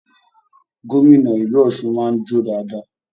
Gómìnà ìlú Ọsún máa n jo dáadáa.